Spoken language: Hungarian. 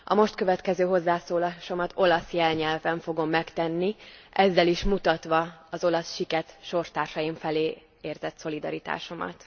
A most következő hozzászólásomat olasz jelnyelven fogom megtenni, ezzel is mutatva az olasz siket sorstársaim felé érzett szolidaritásomat.